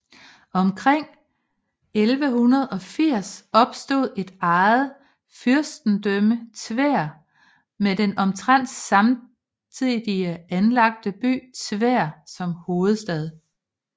Omkring 1180 opstod et eget fyrsten dømme Tver med den omtrent samtidig anlagte by Tver som hovedstad